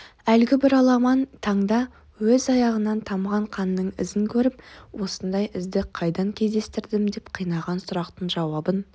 әлгі бір аламан таңда өз аяғынан тамған қанның ізін көріп осындай ізді қайдан кездестірдім деп қинаған сұрақтың жауабын